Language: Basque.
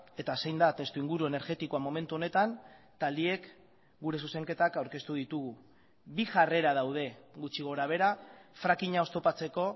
eta zein da testuinguru energetikoa momentu honetan taldeek gure zuzenketak aurkeztu ditugu bi jarrera daude gutxi gora behera frackinga oztopatzeko